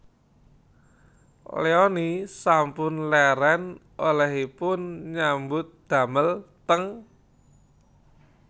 Leony sampun leren olehipun nyambut damel teng